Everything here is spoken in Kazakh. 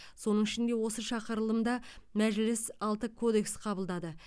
соның ішінде осы шақырылымда мәжіліс алты кодекс қабылдады